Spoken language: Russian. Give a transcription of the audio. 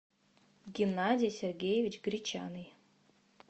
геннадий сергеевич гречаный